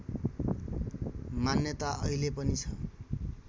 मान्यता अहिले पनि छ